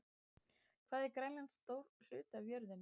Hvað er Grænland stór hluti af jörðinni?